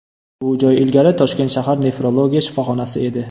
Bu joy ilgari Toshkent shahar nefrologiya shifoxonasi edi.